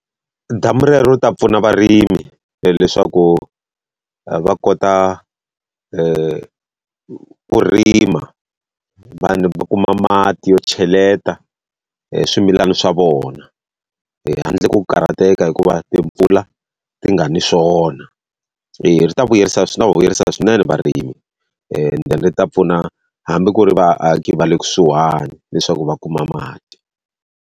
Damu rero ri ta pfuna varimi leswaku va a kota ku ku rima, vanhu va kuma mati yo cheleta eswimilana swa vona, handle ko karhateka hikuva timpfula ti nga ni swona. Eya ri ta vuyerisa ta va vuyerisa swinene varimi, ende ri ta pfuna hambi ku ri vaaki va le kusuhani leswaku va kuma mati.